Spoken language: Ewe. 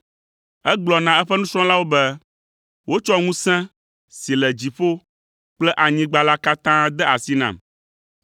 Egblɔ na eƒe nusrɔ̃lawo be, “Wotsɔ ŋusẽ si le dziƒo kple anyigba la katã de asi nam,